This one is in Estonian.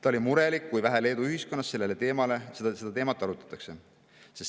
Ta oli murelik, kui vähe Leedu ühiskonnas seda teemat arutatakse.